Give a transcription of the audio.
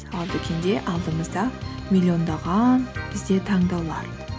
ал дүкенде алдыңызда миллиондаған бізде таңдаулар